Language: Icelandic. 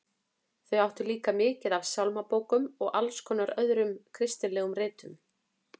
Þau áttu líka mikið af sálmabókum og alls konar öðrum kristilegum ritum.